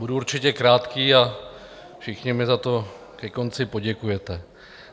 Budu určitě krátký a všichni mi za to ke konci poděkujete.